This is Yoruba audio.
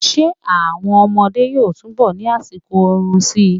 Ṣé àwọn ọmọdé yóò túnbọ̀ ni àsìkò oorun síi.